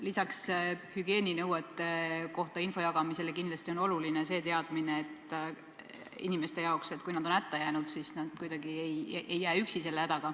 Lisaks hügieeninõuete kohta info jagamisele on inimestel kindlasti oluline teada, et kui nad on hätta jäänud, siis nad ei jää oma hädas üksi.